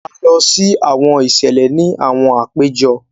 A lọ si awọn iṣẹlẹ ni awọn àpéjọ.